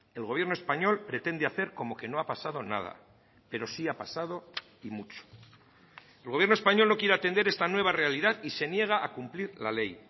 el gobierno español pretende hacer como que no ha pasado nada pero sí ha pasado y mucho el gobierno español no quiere atender esta nueva realidad y se niega a cumplir la ley